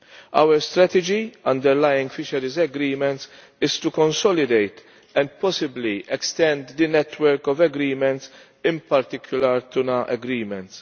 Our strategy underlying fisheries agreements is to consolidate and possibly extend the network of agreements, in particular tuna agreements.